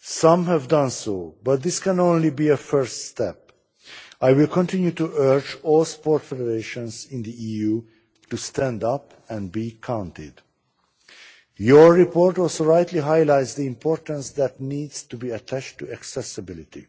Some have done so, but this can only be a first step. I will continue to urge all sports federations in the EU to stand up and be counted. Your report also rightly highlights the importance that needs to be attached to accessibility.